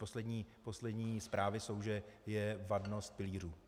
Poslední zprávy jsou, že je vadnost pilířů.